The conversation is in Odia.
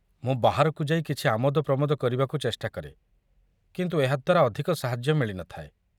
ମୁଁ ବାହାରକୁ ଯାଇ କିଛି ଆମୋଦ ପ୍ରମୋଦ କରିବାକୁ ଚେଷ୍ଟା କରେ, କିନ୍ତୁ ଏହା ଦ୍ୱାରା ଅଧିକ ସାହାଯ୍ୟ ମିଳିନଥାଏ।